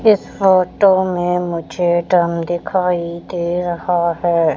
इस फोटो में मुझे डम दिखाई दे रहा है।